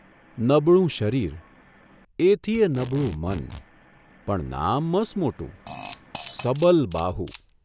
નબળું શરીર, એથીયે નબળું મન, પણ નામ મસમોટું ' સબલબાહુ !